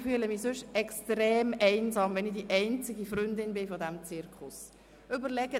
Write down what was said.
Ich fühle mich sonst extrem einsam, wenn ich die einzige Freundin dieses Zirkus bin.